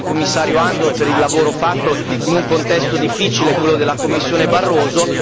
Ringrazio il Commissario Andor per il lavoro fatto in un contesto difficile, quello della Commissione Barroso.